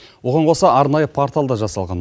оған қоса арнайы портал да жасалған